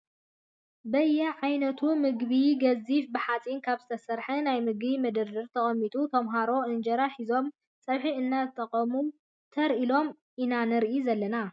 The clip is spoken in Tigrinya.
በየ ዓይነቱ ምግቢ ኣብ ገዚፍ ብሓፂን ካብ ዝተሰርሐ ናይ ምግቢ መደርደሪ ተቀሚጡ ተመሃሮ እንጀራ ሒዞም ፀብሒ እናተጠቀሙ ተር ኢሎም ኢና ንሪኦም ዘለና ።